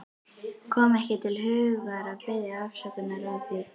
Kom ekki til hugar að biðjast afsökunar á því.